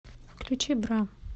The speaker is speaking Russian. включи бра